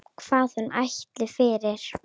Hvað hún ætlist fyrir.